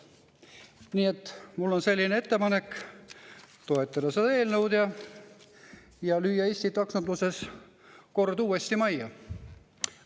Nii et mul on ettepanek toetada seda eelnõu ja lüüa Eesti taksonduses kord uuesti majja.